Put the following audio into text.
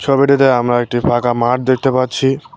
ছবিটিতে আমরা একটি ফাঁকা মাঠ দেখতে পাচ্ছি।